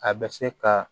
A bɛ se ka